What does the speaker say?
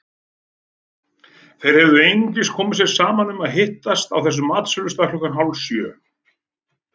Þeir höfðu einungis komið sér saman um að hittast á þessum matsölustað klukkan hálfsjö.